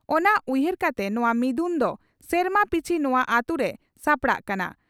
ᱚᱱᱟ ᱩᱭᱦᱟᱹᱨ ᱠᱟᱛᱮ ᱱᱚᱣᱟ ᱢᱤᱫᱩᱱ ᱫᱚ ᱥᱮᱨᱢᱟ ᱯᱤᱪᱷᱤ ᱱᱚᱣᱟ ᱟᱹᱛᱩᱨᱮ ᱥᱟᱯᱲᱟᱣᱜ ᱠᱟᱱᱟ ᱾